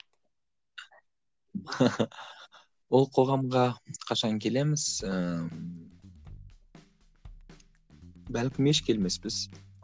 ол қоғамға қашан келеміз ііі бәлкім еш келмеспіз